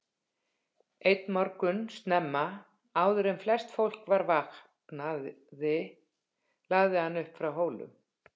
Einn morgun snemma, áður en flest fólk var vaknaði lagði hann upp frá Hólum.